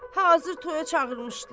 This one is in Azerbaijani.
Hazır toya çağırmışdılar.